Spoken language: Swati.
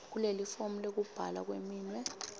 kulelifomu lekubhala kweminwe